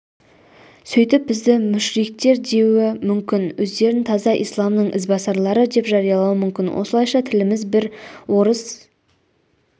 сөйтіп бізді мүшриктер деуі мүмкін өздерін таза исламның ізбасарлары деп жариялауы мүмкін осылайша тіліміз бір орыс